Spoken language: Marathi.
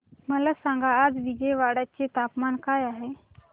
मला सांगा आज विजयवाडा चे तापमान काय आहे